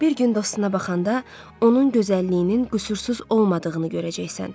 Bir gün dostuna baxanda onun gözəlliyinin qüsursuz olmadığını görəcəksən.